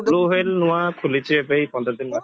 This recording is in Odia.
bluewhale ନୂଆ ଖୋଲିଛି ଏବେ ଏଇ ପନ୍ଦର ଦିନ ହବ